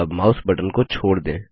अब mouse button को छोड़ दें